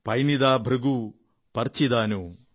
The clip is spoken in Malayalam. പൈന്നിദാ ഭൃഗു പർചിദാനു